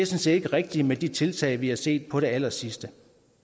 set ikke rigtigt med de tiltag vi har set på det allersidste